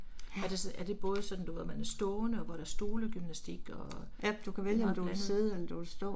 Er det er det både sådan du ved hvor man er stående og hvor der er stolegymnastik og, det er meget blandet blandet